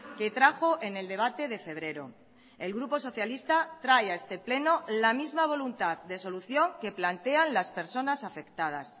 que trajo en el debate de febrero el grupo socialista trae a este pleno la misma voluntad de solución que plantean las personas afectadas